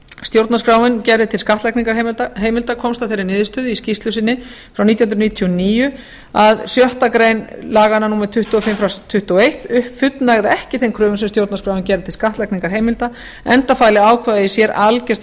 stjórnarskráin gerir til skattlagningarheimilda komst að þeirri niðurstöðu í skýrslu sinni frá nítján hundruð níutíu og níu að sjöttu grein laga númer tuttugu og fimm nítján hundruð tuttugu og eitt fullnægði ekki þeim kröfum sem stjórnarskráin gerði til skattlagningarheimilda enda fæli ákvæðið í sér algert